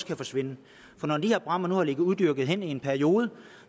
kan forsvinde for når de her bræmmer nu har ligget uopdyrkede hen i en periode